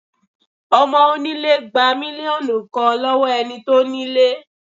Ọmọ onílé gba mílíọ̀nù kan lọ́wọ́ ẹni tó ní lé